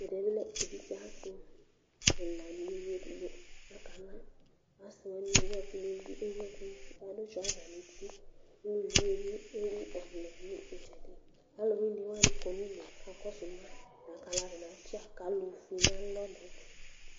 Evidze asi ɛla nʊ uluvi edigbo lanutɛ kʊ akala, asiwanɩ ewu ɛkʊ nʊ ukponu kʊ adʊ awu nu uti, uluvi yɛ ewu ɔvlɛ nʊ itsedi, alʊwɩnɩwanɩ kɔ nʊ udu kakɔsʊ ma, atani atsi akalo fue nʊ alɔ,